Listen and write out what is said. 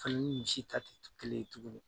Fali ni misi ta tɛ kelen ɲe tuguni